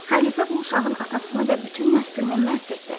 Xəlifə bu uşağın atasını və bütün nəslini məhv etdi.